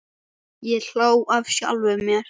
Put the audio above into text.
Ég hló að sjálfum mér.